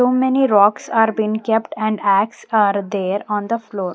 So many rocks are been kept and axe are there on the floor.